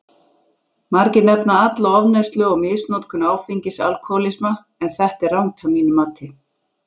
Margir nefna alla ofneyslu og misnotkun áfengis alkohólisma, en þetta er rangt að mínu mati.